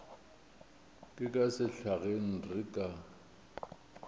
ka ka sehlageng re ka